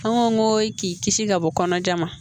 An ko k'i kisi ka bɔ kɔnɔjan ma